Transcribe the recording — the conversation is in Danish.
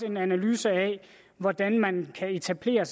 en analyse af hvordan man kan etablere